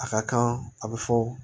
A ka kan a bɛ fɔ